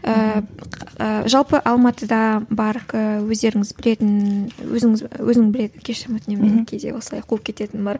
ііі жалпы алматыда бар ііі өздеріңіз білетін өзіңіз өзің білетін кешірім өтінемін кейде осылай қуып кететінім бар